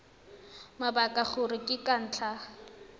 mabaka gore ke ka ntlha